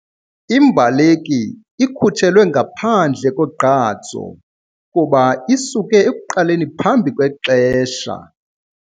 Imbaleki ikhutshelwe ngaphandle kogqatso kuba isuke ekuqaleni phambi kwexesha.